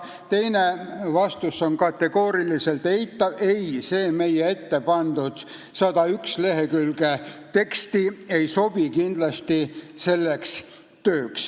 Teine vastus on kategooriliselt eitav: ei, see meie ette pandud 101 lehekülge teksti selleks tööks kindlasti ei sobi.